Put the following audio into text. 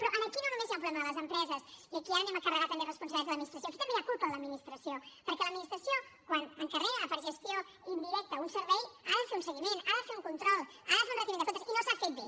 però aquí no només hi ha un problema de les empreses i aquí anem a carregar també responsabilitats a l’administració aquí també hi ha culpa de l’administració perquè l’administració quan encarrega per gestió indirecta un servei n’ha de fer un seguiment n’ha de fer un control n’ha de fer un retiment de comptes i no s’ha fet bé